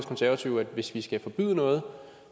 konservative at hvis vi skal forbyde noget